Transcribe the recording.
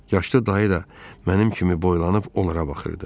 Yaşlı dayı da mənim kimi boylanıb onlara baxırdı.